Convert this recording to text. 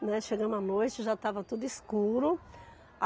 Né. Chegamos à noite, já estava tudo escuro.